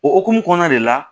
O hukumu kɔnɔna de la